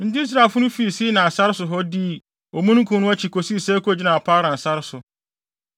enti Israelfo no fii Sinai sare so hɔ dii omununkum no akyi kosii sɛ ekogyinaa Paran sare so.